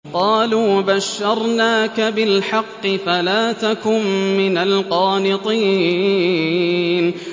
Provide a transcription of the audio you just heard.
قَالُوا بَشَّرْنَاكَ بِالْحَقِّ فَلَا تَكُن مِّنَ الْقَانِطِينَ